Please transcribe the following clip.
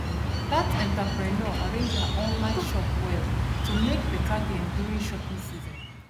that entrepreneur arrange her online shop well to make better gain during shopping season